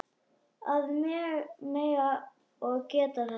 Að mega og geta þetta.